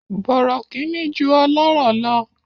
Bọ̀rọ̀kìnní ju ọlọ́rọ̀ lọ.